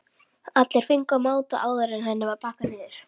Allir fengu að máta áður en henni var pakkað niður.